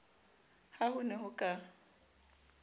ha ho ne ho ka